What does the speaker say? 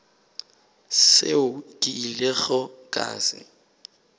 seo ke ilego ka se